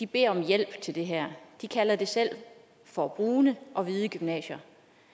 beder om hjælp til det her de kalder det selv for brune og hvide gymnasier